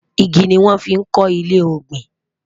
ìgi ní wón fí kò ilé ògbìn